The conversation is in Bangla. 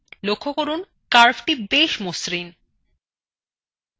লক্ষ্য করুন curvethe বেশ মসৃন !